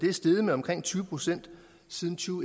er steget med omkring tyve procent siden to